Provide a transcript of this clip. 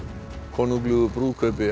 konunglegu brúðkaupi